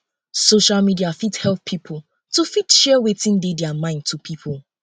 social media fit help um pipo to fit share um wetin dey their mind to pipo